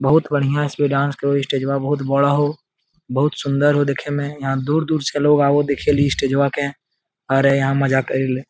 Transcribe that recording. बहुत बढ़िया इसपे डांस करे हो स्टेजवा बहुत बड़ा हो बहुत सुंदर हो देखे मे यहाँ दूर-दूर से लोग आवो हो देखे ली स्टेजवा के और यहाँ मजा करी ले ।